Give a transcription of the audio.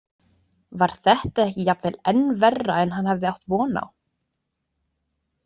Var þetta ekki jafnvel enn verra en hann hafði átt von á?